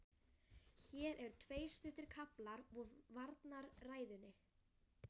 Hér eru tveir stuttir kaflar úr varnarræðunni